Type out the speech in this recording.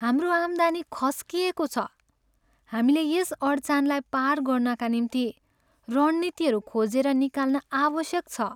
हाम्रो आम्दानी खस्किएको छ! हामीले यस अडचानलाई पार गर्नाका निम्ति रणनीतिहरू खोजेर निकाल्न आवश्यक छ।